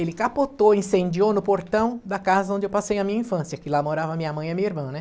Ele capotou, incendiou no portão da casa onde eu passei a minha infância, que lá morava minha mãe e minha irmã, né.